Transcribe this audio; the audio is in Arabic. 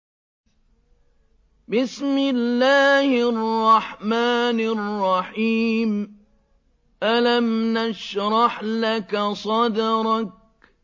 أَلَمْ نَشْرَحْ لَكَ صَدْرَكَ